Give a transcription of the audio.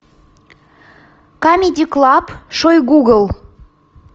камеди клаб шойгугл